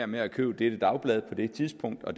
med at købe det dagblad på det tidspunkt og